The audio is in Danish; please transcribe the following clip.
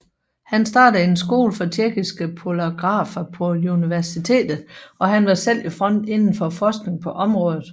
Han startede en skole for tjekkiske polarografer på universitet og han var selv i front inden for forskning på området